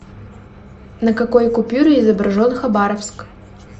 на какой купюре изображен хабаровск